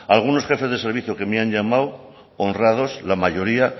algunos jefes de servicio que me han llamado honrados la mayoría